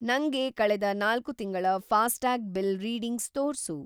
ನಂಗೆ ಕಳೆದ್‌ ೪ ತಿಂಗಳ ಫಾಸ್ಟ್ಯಾಗ್ ಬಿಲ್‌ ರೀಡಿಂಗ್ಸ್‌ ತೋರ್ಸು.